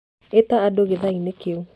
ĩta andũ gĩathĩ-inĩ kĩu